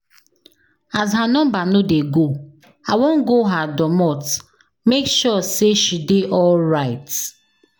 As her number no dey go, I wan go her domot make sure sey she dey alright.